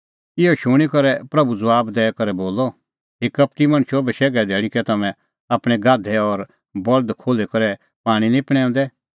इहअ शूणीं करै प्रभू ज़बाब दैई करै बोलअ हे कपटी मणछो बशैघे धैल़ी कै तम्हैं आपणैं गाधै और बल्द खोल्ही करै पाणीं निं पणैंऊंदै